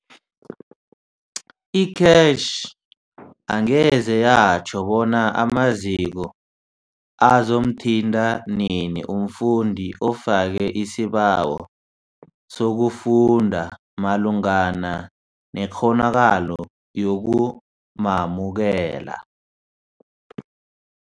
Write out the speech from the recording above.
I-CACH angeze yatjho bona amaziko azomthinta nini umfundi ofake isibawo sokufunda malungana nekghonakalo yokumamukela.